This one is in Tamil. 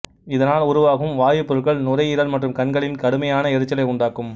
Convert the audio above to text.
இதனால் உருவாகும் வாயுப் பொருட்கள் நுரையீரல் மற்றும் கண்களில் கடுமையான எரிச்சலை உண்டாக்கும்